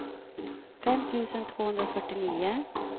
fem tusen tvåhundrafyrtionio